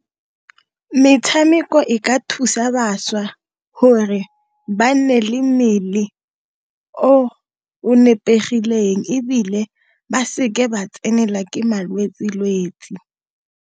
Metshameko e ka thusa bašwa, gore ba nne le mmele o o nepegileng, ebile ba seke ba tsenwa ke malwetsi-lwetsi.